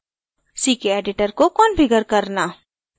ckeditor को configure करना